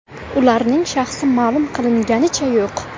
Ularning shaxsi ma’lum qilinganicha yo‘q.